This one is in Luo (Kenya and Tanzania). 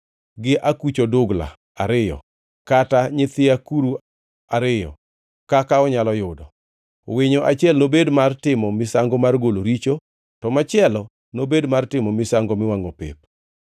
gi akuch odugla ariyo kata nyithi akuru ariyo kaka onyalo yudo. Winyo achiel nobed mar timo misango mar golo richo, to machielo nobed mar timo misango miwangʼo pep.